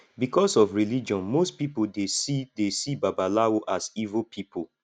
because of religion most pipo dey see dey see babalawo as evil pipo